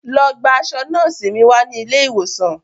Lọ gba aṣọ nọ́ọ̀sì mi wá ní ilé ìwòsàn